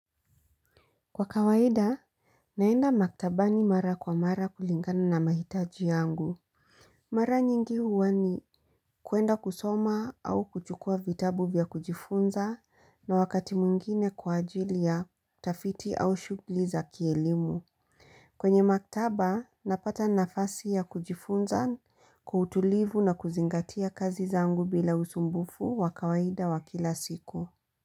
Kwa kawaida, naenda maktabani mara kwa mara kulingana na mahitaji yangu. Mara nyingi huwa ni kuenda kusoma au kuchukua vitabu vya kujifunza na wakati mwingine kwa ajili ya utafiti au shughuli za kielimu. Kwenye maktaba, napata nafasi ya kujifunza kwa utulivu na kuzingatia kazi zangu bila usumbufu wakawaida wakila siku.